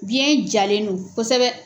Biɲɛ jalen don kosɛbɛ.